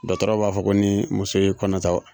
Dɔtɔrɔw b'a fɔ ko ni muso ye kɔnɔta